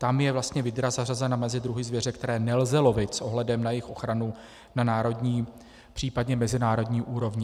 Tam je vlastně vydra zařazena mezi druhy zvěře, které nelze lovit s ohledem na jejich ochranu na národní, případně mezinárodní úrovni.